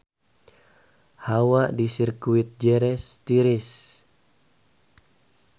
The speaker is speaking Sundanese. Hawa di Sirkuit Jerez tiris